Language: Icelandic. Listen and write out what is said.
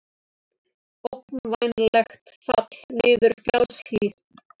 Ógnvænlegt fall niður fjallshlíð